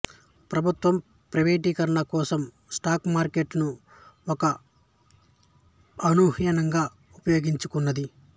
ప్రభుత్వం ప్రైవేటీకరణ కోసం స్టాక్ మార్కెటును ఒక అవెన్యూగా ఉపయోగించుకుంది